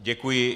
Děkuji.